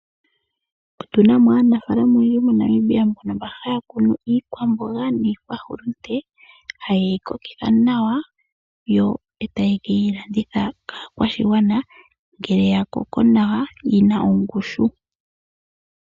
Otu na mo aanafaalama oyendji moNamibia mbono haya kunu iikwamboga niikwahulunde haye yi kokitha nawa, yo taye ke yi landitha kaakwashigwana ngele ya koko nawa, yi na ongushu.